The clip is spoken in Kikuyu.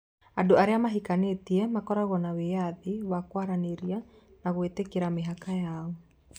Andũ arĩa mahikanĩtie makoragwo na wĩyathi wa kwaranĩria na gwĩtĩkĩra mĩhaka yao.